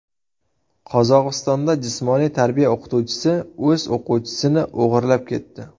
Qozog‘istonda jismoniy tarbiya o‘qituvchisi o‘z o‘quvchisini o‘g‘irlab ketdi.